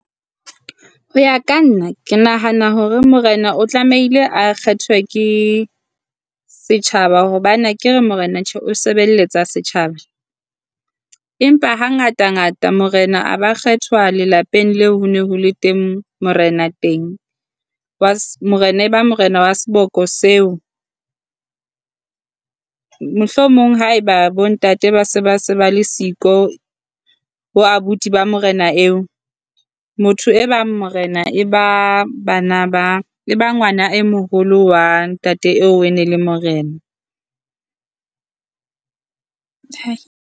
Ho ya ka nna ke nahana hore morena o tlamehile a kgethwe ke setjhaba hobane akere morena tjhe o sebelletsa setjhaba. Empa ha ngata ngata morena a ba kgethwa lelapeng leo ho ne ho le teng morena teng. Morena e ba morena wa seboko seo. Mohlomong haeba bo ntate ba se ba se ba le siko bo abuti ba morena eo. Motho e bang morena e ba bana e ba ngwana e moholo wa ntate eo ene le morena.